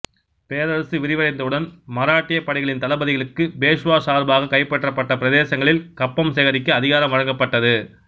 பேரரசு விரிவடைந்தவுடன் மராட்டிய படைகளின் தளபதிகளுக்கு பேஷ்வா சார்பாக கைப்பற்றப்பட்ட பிரதேசங்களில் கப்பம் சேகரிக்க அதிகாரம் வழங்கப்பட்டது